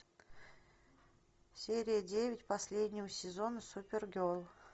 серия девять последнего сезона супер герл